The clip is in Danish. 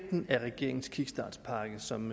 som